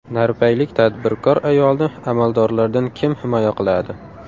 Narpaylik tadbirkor ayolni amaldorlardan kim himoya qiladi?.